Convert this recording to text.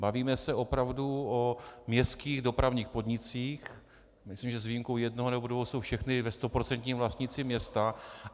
Bavíme se opravdu o městských dopravních podnicích, myslím, že s výjimkou jednoho nebo dvou jsou všechny ve stoprocentním vlastnictví města.